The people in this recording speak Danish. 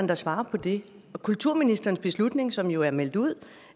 der svarer på det og kulturministerens beslutning som jo er meldt ud